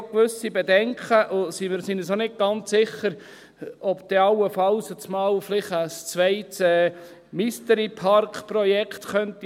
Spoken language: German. Wir haben auch gewisse Bedenken und sind nicht ganz sicher, ob dann allenfalls auf einmal vielleicht ein zweites Mystery-Park-Projekt entstehen könnte.